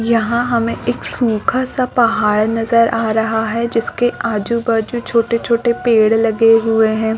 यहाँ हमें एक सूखा -सा पहाड़ नजर आ रहा है जिसके आजु -बाजु छोटॆ -छोटे पेड़ लगे हुए हैं |